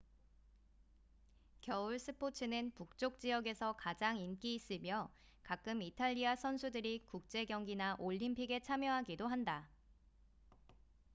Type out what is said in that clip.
겨울 스포츠는 북쪽 지역에서 가장 인기 있으며 가끔 이탈리아 선수들이 국제 경기나 올림픽에 참여하기도 한다